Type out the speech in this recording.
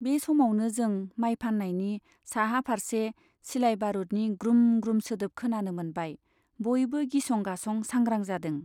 बे समावनो जों माय फान्नायनि साहा फार्से सिलाय बारुदनि ग्रुम ग्रुम सोदोब खोनानो मोनबाय बयबो गिसं गासं सांग्रां जादों।